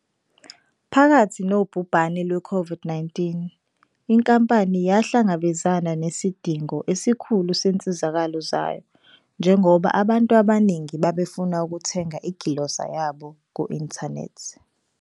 Phakathi nobhubhane lwe-COVID-19 inkampani yahlangabezana nesidingo esikhulu sezinsizakalo zayo njengoba abantu abaningi babefuna ukuthenga igilosa yabo ku-inthanethi.